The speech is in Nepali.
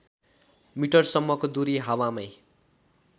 मिटरसम्मको दूरी हावामै